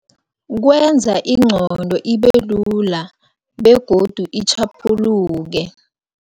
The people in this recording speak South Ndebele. Kwenza ingqondo ibelula begodu itjhaphuluke.